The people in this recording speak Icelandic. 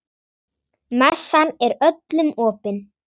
Messan er öllum opin.